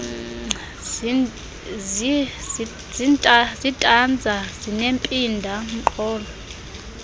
zitanza zinempinda mqolo